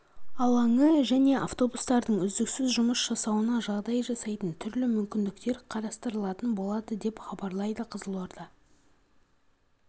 алаңы және автобустардың үздіксіз жұмыс жасауына жағдай жасайтын түрлі мүмкіндіктер қарастырылатын болады деп хабарлайды қызылорда